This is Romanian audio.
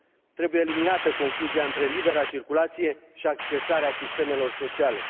Trebuie eliminată confuzia între libera circulație și accesarea sistemelor sociale.